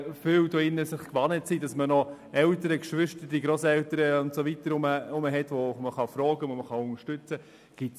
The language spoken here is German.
Viele hier im Saal haben noch Eltern, Geschwister, Grosseltern und so weiter, die sie fragen und bei denen sie Unterstützung holen können.